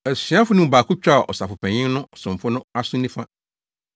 Asuafo no mu baako twaa Ɔsɔfopanyin no somfo no aso nifa.